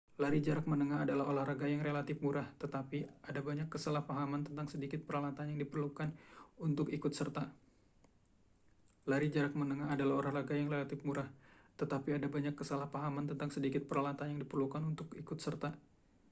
lari jarak menengah adalah olahraga yang relatif murah tetapi ada banyak kesalahpahaman tentang sedikit peralatan yang diperlukan untuk ikut serta